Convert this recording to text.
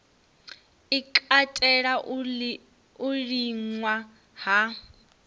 i katela u liṅwa ha